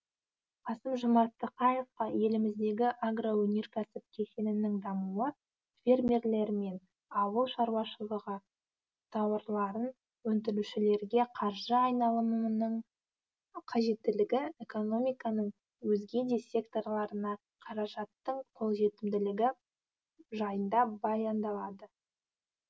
қасым жомарт тоқаевқа еліміздегі агроөнеркәсіп кешенінің дамуы фермерлер мен ауыл шаруашылығы тауарларын өндірушілерге қаржы айналымының қажеттілігі экономиканың өзге де секторларына қаражаттың қолжетімділігі жайында баяндалды